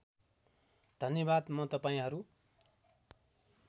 धन्यवाद म तपाईँहरू